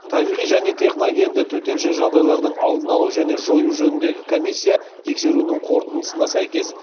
табиғи және техногенді төтенше жағдайлардың алдын алу және жою жөніндегі комиссия тексеруінің қорытындысына сәйкес